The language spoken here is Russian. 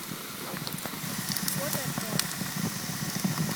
фото джо